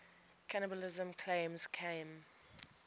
cannibalism claims came